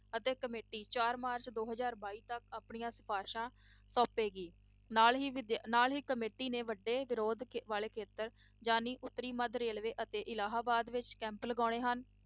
ਅਤੇ committee ਚਾਰ March ਦੋ ਹਜ਼ਾਰ ਬਾਈ ਤੱਕ ਆਪਣੀਆਂ ਸਿਫ਼ਾਰਸ਼ਾਂ ਸੋਂਪੇਗੀ ਨਾਲ ਹੀ ਵਿਦਿ~ ਨਾਲ ਹੀ committee ਨੇ ਵੱਡੇ ਵਿਰੋਧ ਵਾਲੇ ਖੇਤਰਾਂ ਜਾਣੀ ਉੱਤਰੀ ਮੱਧ railway ਅਤੇ ਇਲਾਹਾਬਾਦ ਵਿੱਚ camp ਲਗਾਉਣੇ ਹਨ।